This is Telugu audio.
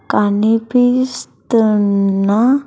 కనిపిస్తున్నా.